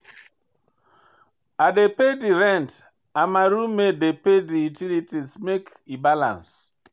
I dey pay di rent and my roommate dey pay di utilities make e balance.